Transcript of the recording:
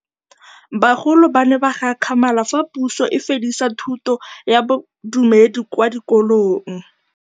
Bagolo ba ne ba gakgamala fa Pusô e fedisa thutô ya Bodumedi kwa dikolong.